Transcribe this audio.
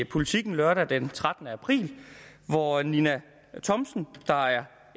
politiken lørdag den trettende april hvor ninna thomsen der er